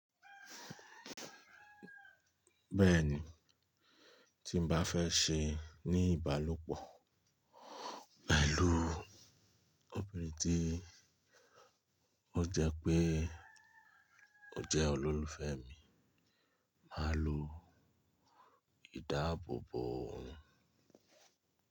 Bẹ́ẹ̀ ni, tí n bá fẹ́ ṣe ní ìbálòpọ̀ pẹ̀lú obìnrin tí ó jẹ pé ó jẹ́ olólùfẹ́ mi, màá lo ìdáàbòbò.